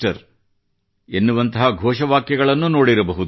ʼ ಎನ್ನುವಂಥ ಘೋಷವಾಕ್ಯಗಳನ್ನು ನೋಡಿರಬಹುದು